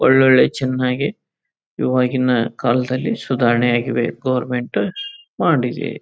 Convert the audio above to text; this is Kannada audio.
ಒಳ್ಳೊಳ್ಳೆ ಚನ್ನಾಗಿ ಇವಾಗಿನ ಕಾಲದಲ್ಲಿ ಸುಧಾರನೆ ಆಗಿವೆ ಗವರ್ನಮೆಂಟ್ ಮಾಡಿರಿ.